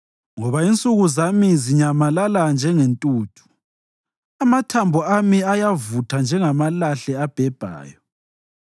Ngoba insuku zami ziyanyamalala njengentuthu; amathambo ami ayavutha njengamalahle abhebhayo.